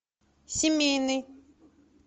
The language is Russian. семейный